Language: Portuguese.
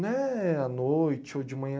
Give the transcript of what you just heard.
Não é à noite ou de manhã.